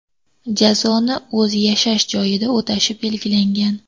Jazoni o‘z yashash joyida o‘tashi belgilangan.